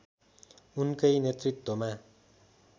उनकै नेतृत्वमा